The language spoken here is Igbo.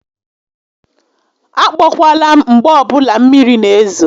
A kpọkwala m mgbe ọbụla mmiri n'ezo